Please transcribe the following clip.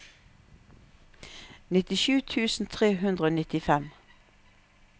nittisju tusen tre hundre og nittifem